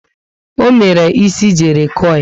O mere ísì jerry coil